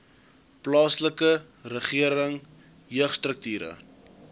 plaaslike regering jeugstrukture